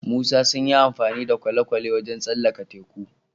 Musa sunyi amfani da kwale kwale wajan tsallaka teku